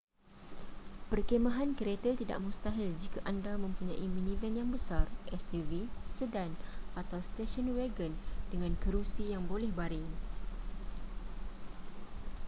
perkhemahan kereta tidak mustahil jika anda mempunyai minivan yang besar suv sedan atau station wagon dengan kerusi yang boleh baring